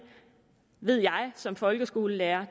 ved jeg som folkeskolelærer